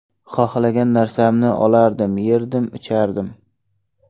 Xohlagan narsamni olardim, yerdim, ichardim.